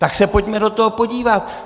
Tak se pojďme do toho podívat!